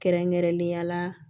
Kɛrɛnkɛrɛnnenya la